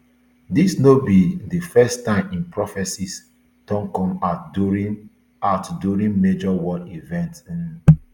dis no be di first time im prophecies don come out during out during major world events um